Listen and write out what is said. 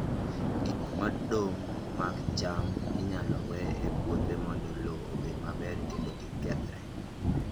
Gik modong' mag cham inyalo we e puothe mondo lowo obed maber kendo mondo kik gikethre.